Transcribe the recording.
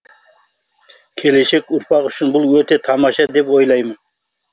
келешек ұрпақ үшін бұл өте тамаша деп ойлаймын